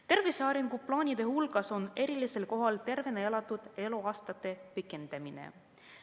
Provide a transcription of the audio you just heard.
Tervise arenguplaanide hulgas on erilisel kohal tervena elatud eluea pikendamine.